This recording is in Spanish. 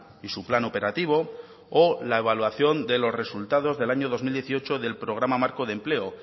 y su plan operativo o la evaluación de los resultados del año dos mil dieciocho del programa marco de empleo